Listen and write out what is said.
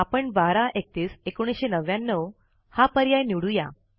आपण 12 31 1999 हा पर्याय निवडू या